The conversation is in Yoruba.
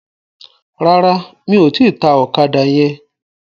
Rárá, mi ò tíì ta ọ̀kadà yẹn.